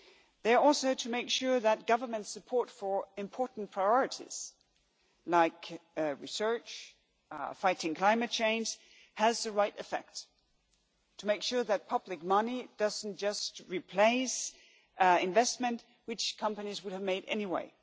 They are also to make sure that government support for important priorities like research and fighting climate change has the right effect, to make sure that public money does not just replace investment which companies would have made anyway